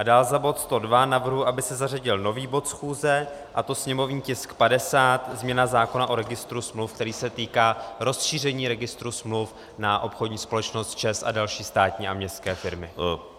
A dál za bod 102 navrhuji, aby se zařadil nový bod schůze, a to sněmovní tisk 50, změna zákona o registru smluv, který se týká rozšíření registru smluv na obchodní společnost ČEZ a další státní a městské firmy.